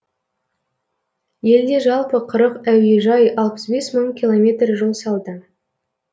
елде жалпы қырық әуежай алпыс бес мың километр жол салды